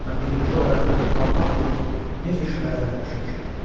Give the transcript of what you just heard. Mən birinci olaraq Allah bilir necə şübhələrə düşmüşəm.